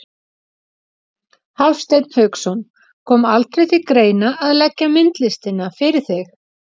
Hafsteinn Hauksson: Kom aldrei til greina að leggja myndlistina fyrir þig?